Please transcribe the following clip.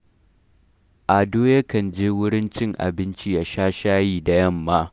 Ado yakan je wurin cin abinci ya sha shayi da yamma